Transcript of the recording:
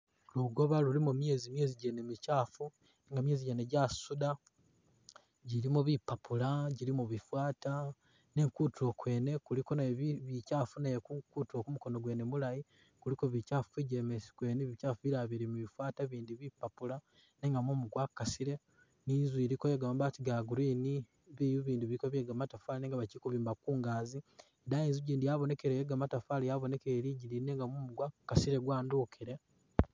Lugoba lulimo myezi, myezi gene mikyafu nga myezi jene jasuda jilimo bipapula, jilimo bifata nenga kutulo kwene kuliko nakwo bikyafu kutulo kwene ku mukono mulayi kuliko bikyafu kumijemesi kwene bikyafu bilala bili mubifata bilala mubipapula nenga mumu gwakasile ni inzu iliko mabati ga green biyu bindi biliko bye gamatafari nenga bakyili kubimba kungagi ,idaayi Inzu gindi yabonekelele i yegamatafari yabonekelele lidigiyi nenga mumu gwakasile gwadubukile.